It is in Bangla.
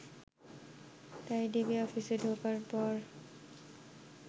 তাই ডিবি অফিসে ঢোকার পর